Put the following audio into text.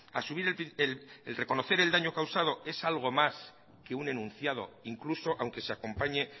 asumir y el reconocer el daño causado es algo más que un enunciado incluso aunque se acompañe